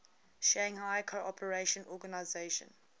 shanghai cooperation organization